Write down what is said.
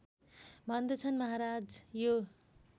भन्दछन् महाराज यो